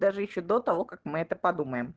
даже ещё до того как мы это подумаем